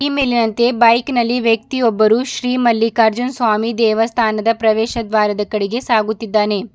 ಈ ಮೇಲಿನಂತೆ ಬೈಕ್ ನಲ್ಲಿ ವ್ಯಕ್ತಿಯೊಬ್ಬರು ಶ್ರಿ ಮಲ್ಲಿಕಾರ್ಜುನ್ ಸ್ವಾಮಿ ದೇವಸ್ಥಾನದ ಪ್ರವೇಶ ದ್ವಾರದ ಕಡೆಗೆ ಸಾಗುತ್ತಿದ್ದಾನೆ.